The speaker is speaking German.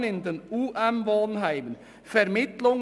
] Wohnen in den UM-Wohnheimen […